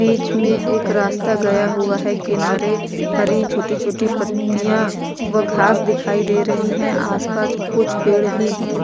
बीच में एक रास्ता गया हुआ है किनारे हरी छोटी-छोटी पत्तियां व घास दिखाई दे रही हैं आसपास कुछ पेड़ भी हैं ।